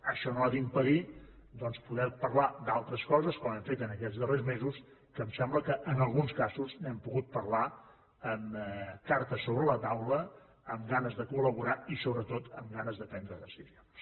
això no ha d’impedir doncs poder parlar d’altres coses com hem fet en aquests darrers mesos que em sembla que en alguns casos n’hem pogut parlar amb cartes sobre la taula amb ganes de col·laborar i sobretot amb ganes de prendre decisions